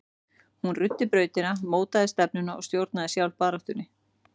Hún ruddi brautina, mótaði stefnuna og stjórnaði sjálf baráttunni.